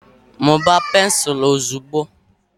mụbaa pensụl ozugbo!